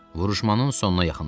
Vuruşmanın sonuna yaxınlaşırdı.